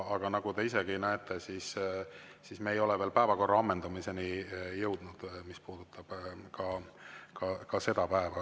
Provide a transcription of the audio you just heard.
Aga nagu te isegi näete, me ei ole veel päevakorra ammendamiseni jõudnud, mis puudutab ka seda päeva.